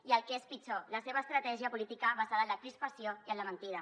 i el que és pitjor la seva estratègia política basada en la crispació i en la mentida